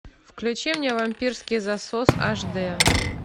включи мне вампирский засос аш д